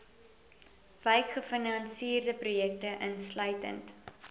wykgefinansierde projekte insluitend